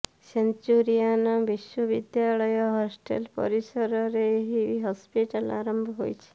Centurion ବିଶ୍ୱବିଦ୍ୟାଳୟ hostel ପରିସରରେ ଏହି ହସ୍ପିଟାଲ ଆରମ୍ଭ ହୋଇଛି